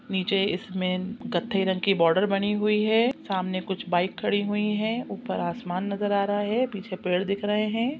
--नीचे इसमें कथे रंग की बॉर्डर बनी हुई है सामने कुछ बाइक खड़ी हुई हैं ऊपर आसमान नज़र आ रहा है पीछे पेड़ दिख रहे है।